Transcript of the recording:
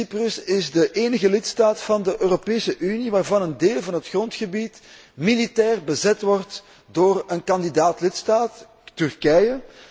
Cyprus is de enige lidstaat van de Europese Unie waarvan een deel van het grondgebied militair bezet wordt door een kandidaat lidstaat, Turkije.